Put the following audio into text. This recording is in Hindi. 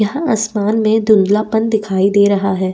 यहाँ आसमान में धुन्दला पन दिखाई दे रहा है।